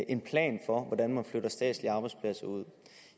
en plan for hvordan der flyttes statslige arbejdspladser ud